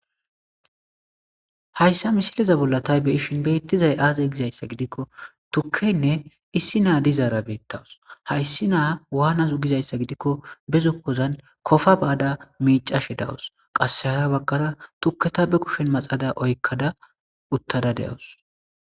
Hayissa misilezan bolla ta beyishin betizayi aze gikko tukeyinne issi na'i dizara betawusi hayisinne isi nayi wanasu gidayisa gidiko be zokozani kofa mayada micashe dawusi qase hara baggara tuketa maxada ba kusheni oyikada dawusi